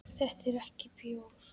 Þetta er ekki bjór.